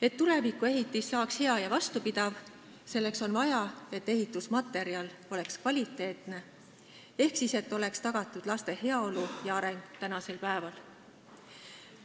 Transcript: Et tulevikuehitis saaks hea ja vastupidav, selleks on vaja, et ehitusmaterjal oleks kvaliteetne ehk oleks tagatud laste heaolu ja areng tänasel päeval.